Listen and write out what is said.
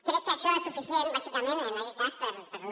crec que això és suficient bàsicament en aquest cas per no